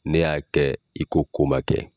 N'e y'a kɛ i ko ko ma kɛ